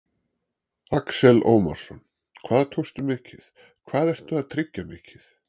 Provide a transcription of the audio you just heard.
Axel Ómarsson: Hvað tókstu mikið, hvað ertu að tryggja mikið?